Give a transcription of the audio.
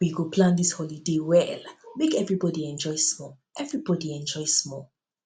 we go plan dis holiday well make everybodi enjoy small everybodi enjoy small